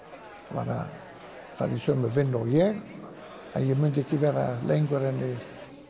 var að fara í sömu vinnu og ég en ég myndi ekki vera lengur en